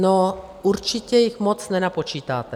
No určitě jich moc nenapočítáte.